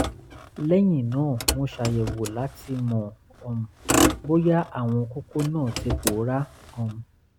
lẹ́yìn náà mo ṣàyẹ̀wò láti mọ̀ um bóyá àwọn kókó náà ti pòórá um